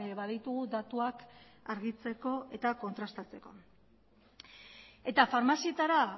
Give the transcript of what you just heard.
baditugu datuak argitzeko eta kontrastatzeko eta farmazietara